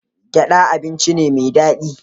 Gyaɗa abinci ne mai daɗi.